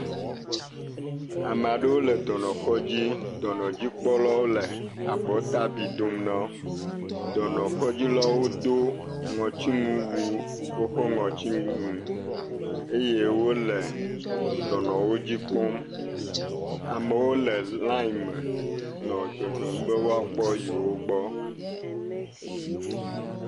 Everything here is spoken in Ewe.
Ame aɖewo le dɔnɔkɔdzi. Dɔnɔdzikpɔlawo le abɔtabi dom na wo. Dɔnɔkɔdzilawo do ŋɔtinuwu, woƒe ŋɔtsinuwo eye wole dɔnɔwo dzi kpɔm. Amewo le liaŋ me nɔ dzɔdzɔm be woakpɔ yewo gbɔ.